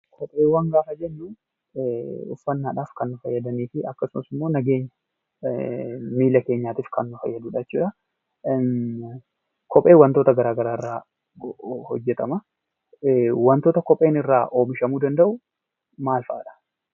Kopheewwan gaafa jennu uffannaadhaaf kan nu fayyadanii fi akkasumas nageenya miilla keenyaatiif kan nu fayyadu jechuu dha. Kopheen wantoota gara garaa irraa hojjetama. Wantoota kopheen irraa oomishamuu danda'u maal fa'adha?